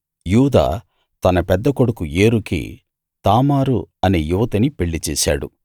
యూదా తన పెద్ద కొడుకు ఏరుకి తామారు అనే యువతిని పెళ్ళి చేశాడు